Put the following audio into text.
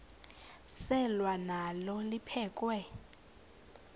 selwa nalo liphekhwe